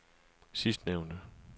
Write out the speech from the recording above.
sidstnævnte